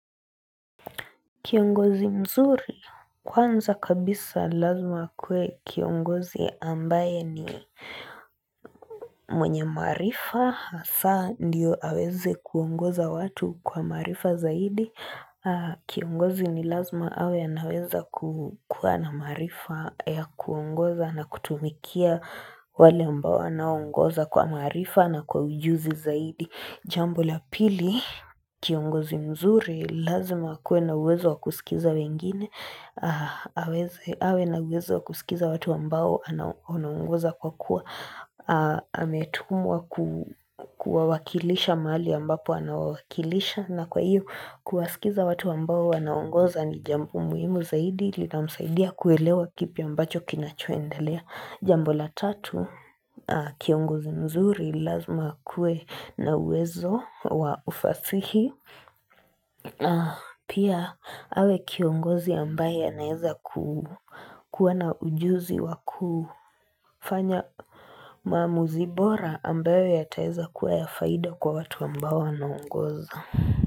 Kiongozi mzuri kwanza kabisa lazima akuwe kiongozi ambaye ni mwenye maarifa hasa ndiyo aweze kuongoza watu kwa maarifa zaidi Kiongozi ni lazima awe anaweza kuwa na maarifa ya kuongoza na kutumikia wale ambao anaongoza kwa maarifa na kwa ujuzi zaidi Jambo la pili, kiongozi mzuri, lazima akuwe na uwezo wa kusikiza wengine awe na uwezo wa kusikiza watu ambao anaongoza kwa kuwa ametumwa kuwawakilisha mahali ambapo anawawakilisha na kwa hiyo kuwasikiza watu ambao anaongoza ni jambo muhimu zaidi linamsaidia kuelewa kipi ambacho kinachoendelea Jambo la tatu kiongozi mzuri lazima akuwe na uwezo wa ufasihi Pia awe kiongozi ambaye anaeza kuwa na ujuzi wa kufanya maamuzi bora ambayo yataweza kuwa ya faida kwa watu ambao anaongoza.